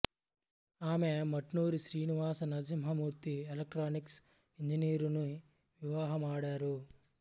ఆమె Mutnuri Srinivasa Narasimhamurthy electronics engineer ని వివాహమాడారు